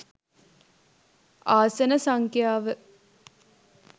ආසන සංඛ්‍යාව